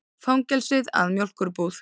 Fangelsið að mjólkurbúð.